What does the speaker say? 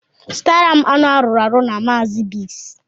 Zụtara m anụ arụrụ arụ na Maazi Biggs